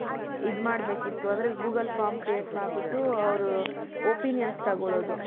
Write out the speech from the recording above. ಇದು ಮಾಡಬೇಕಿತ್ತು ಅಂದ್ರೆ google form create ಮಾಡ್ಬಿಟ್ಟು ಅವರು opinions ತಗೋಳೋದು.